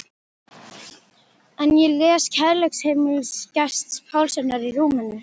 En ég les Kærleiksheimili Gests Pálssonar í rúminu.